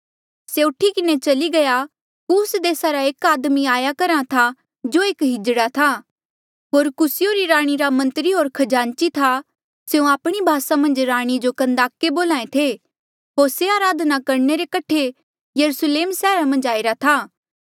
से उठी किन्हें चली गया कूस देसा रे एक आदमी आया करहा था जो एक किन्नर था होर कूसीयों री राणी रा मंत्री होर खजांची था स्यों आपणी भासा मन्झ राणी जो कन्दाके बोल्हा ऐें थे होर से अराधना करणे रे कठे यरुस्लेम सैहरा मन्झ आईरा था